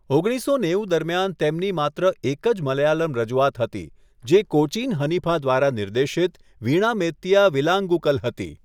ઓગણીસસો નેવું દરમિયાન તેમની માત્ર એક જ મલયાલમ રજૂઆત હતી, જે કોચીન હનીફા દ્વારા નિર્દેશિત વીણા મેત્તિયા વિલાંગુકલ હતી.